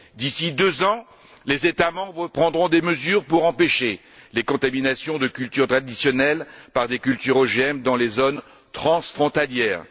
D'ici deux ans, les États membres prendront des mesures afin d'empêcher les contaminations de cultures traditionnelles par des cultures OGM dans les zones transfrontalières.